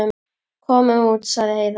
Komum út, sagði Heiða.